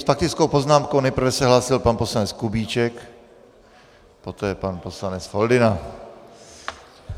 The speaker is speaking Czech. S faktickou poznámkou se nejprve hlásil pan poslanec Kubíček, poté pan poslanec Foldyna.